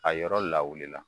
A yɔrɔ lawulila.